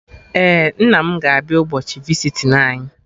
Ee, nna m ga abịa ụbọchị visiting anyị